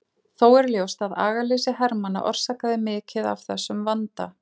Þó er ljóst að agaleysi hermanna orsakaði mikið af þessum vanda.